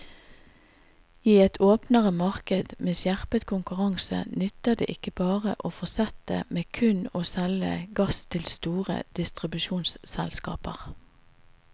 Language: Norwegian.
I et åpnere marked med skjerpet konkurranse nytter det ikke bare å fortsette med kun å selge gass til store distribusjonsselskaper.